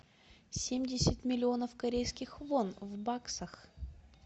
семьдесят миллионов корейских вон в баксах